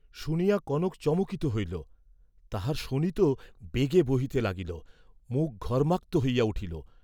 শুনিয়া কনক চমকিত হইল, তাহার শোণিত বেগে বহিতে লাগিল, মুখ ঘর্ম্মাক্ত হইয়া উঠিল।